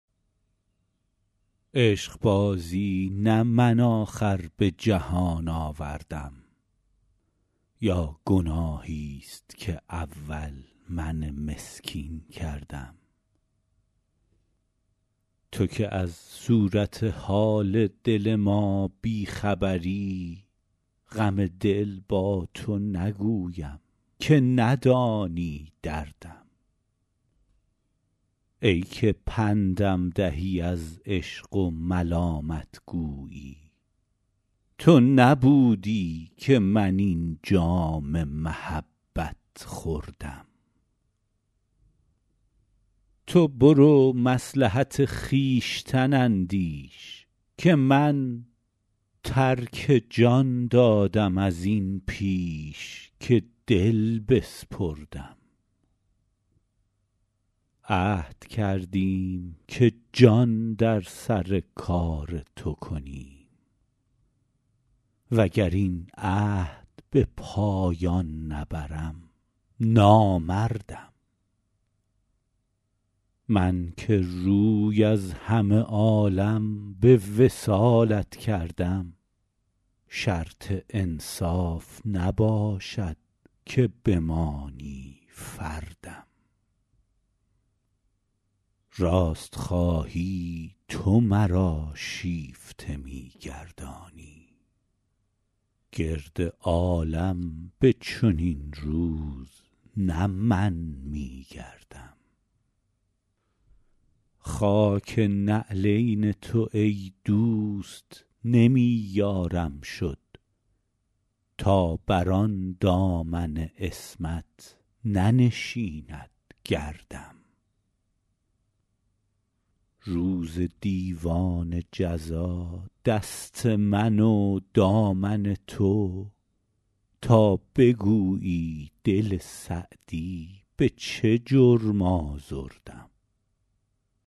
عشقبازی نه من آخر به جهان آوردم یا گناهیست که اول من مسکین کردم تو که از صورت حال دل ما بی خبری غم دل با تو نگویم که ندانی دردم ای که پندم دهی از عشق و ملامت گویی تو نبودی که من این جام محبت خوردم تو برو مصلحت خویشتن اندیش که من ترک جان دادم از این پیش که دل بسپردم عهد کردیم که جان در سر کار تو کنیم و گر این عهد به پایان نبرم نامردم من که روی از همه عالم به وصالت کردم شرط انصاف نباشد که بمانی فردم راست خواهی تو مرا شیفته می گردانی گرد عالم به چنین روز نه من می گردم خاک نعلین تو ای دوست نمی یارم شد تا بر آن دامن عصمت ننشیند گردم روز دیوان جزا دست من و دامن تو تا بگویی دل سعدی به چه جرم آزردم